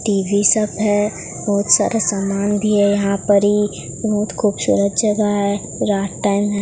TV सब है। बहोत सारा सामान भी है यहां परी। बहुत खूबसूरत जगह है। रात टाइम है।